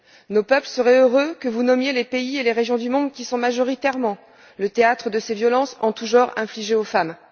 Nos peuples seraient heureux que vous nommiez les pays et les régions du monde qui sont majoritairement le théâtre de ces violences en tout genre infligées aux femmes.